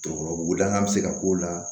Jɔyɔrɔbugu lakan bɛ se ka k'o la